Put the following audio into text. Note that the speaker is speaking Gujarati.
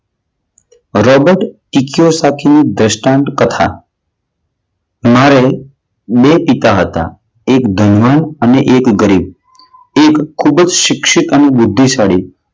રોબર્ટ દ્રષ્ટાંત કથા મારે બે પિતા હતા. એક ધનવાન અને એક ગરીબ. તે ખૂબ જ શિક્ષિત અને બુદ્ધિશાળી.